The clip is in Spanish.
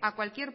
a cualquier